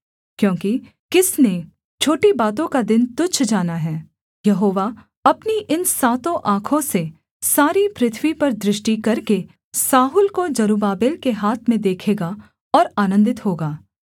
क्योंकि किसने छोटी बातों का दिन तुच्छ जाना है यहोवा अपनी इन सातों आँखों से सारी पृथ्वी पर दृष्टि करके साहुल को जरुब्बाबेल के हाथ में देखेगा और आनन्दित होगा